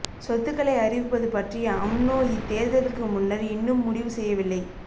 சொத்துக்களை அறிவிப்பது பற்றி அம்னோ இதேர்தலுக்கு முன்னர் இன்னும் முடிவு செய்யவில்லை